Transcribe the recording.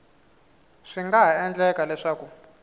swi nga ha endleka leswaku